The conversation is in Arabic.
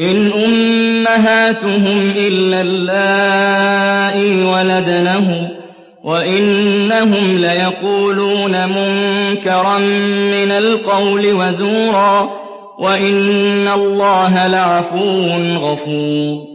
إِنْ أُمَّهَاتُهُمْ إِلَّا اللَّائِي وَلَدْنَهُمْ ۚ وَإِنَّهُمْ لَيَقُولُونَ مُنكَرًا مِّنَ الْقَوْلِ وَزُورًا ۚ وَإِنَّ اللَّهَ لَعَفُوٌّ غَفُورٌ